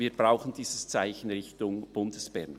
Wir brauchen dieses Zeichen Richtung Bundesbern.